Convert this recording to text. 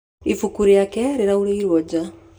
Ibuku rĩake rĩaurĩrwo nja.